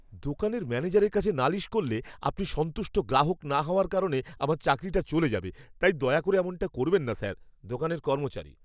দোকানের ম্যানেজারের কাছে নালিশ করলে, আপনি সন্তুষ্ট গ্রাহক না হওয়ার কারণে আমার চাকরিটা চলে যাবে, তাই দয়া করে এমনটা করবেন না, স্যার। দোকানের কর্মচারী